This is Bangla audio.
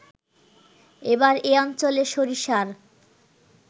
এবার এ অঞ্চলে সরিষার